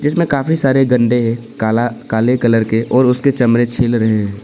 इसमें काफी सारे गंदे है काला काले कलर के और उसके चमड़े छिल रहे है।